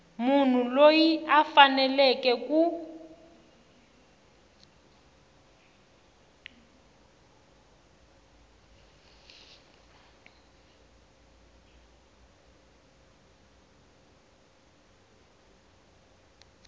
munhu loyi a faneleke ku